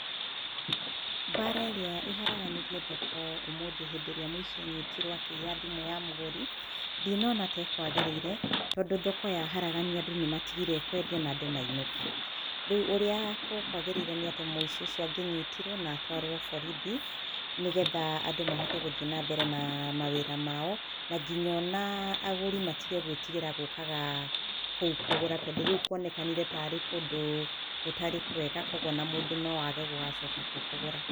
Mbara ĩrĩa ĩharaganirie thoko ũmũthĩ rĩrĩa mũici anyitirwo akĩiya thimũ ya mũgũri, ndinona ta ĩkwagĩrĩire tondũ thoko yaharaganio andũ nĩmatigire kwendia na andũ mainũka, rĩu ũrĩa gũkwagĩrĩire nĩ atĩ mũici ũcio angĩnyitirwo na atwarwo borithi nĩgetha andũ mahote gũthiĩ na mbere naa mawĩra mao na nginya onaa agũri matige gũĩtigĩra gũkaga kũu kũgũra, tondũ rĩu kuonekanire tarĩ kũndũ gũtarĩ kwega kwoguo ona mũndũ no age gũgacoka kuo kũgũra.